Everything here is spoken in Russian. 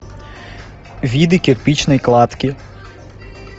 виды кирпичной кладки